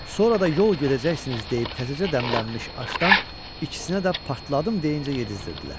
Sonra da yol gedəcəksiniz deyib təzəcə dəmlənmiş aşdan ikisinə də partladım deyincə yedizdirdilər.